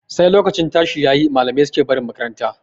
Sai lokacin tashi yayi malamai suke barin makaranta.